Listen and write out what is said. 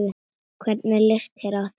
Hvernig litist þér á það?